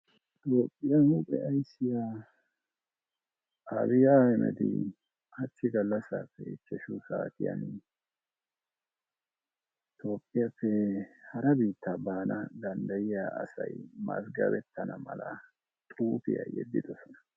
Tophphiyaa huphphe asyssiyaa Abi Ahmedi hachchi galassippe ichchashu saatiyaani Tophphiyaappe hare biittaa baana dandayiyaa asay mazgabetanna malla xuufiyaa yedidosonna.